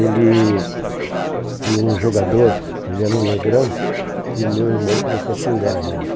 Ele tinha um jogador, ele era um negrão, e o meu irmão começou a xingar ele.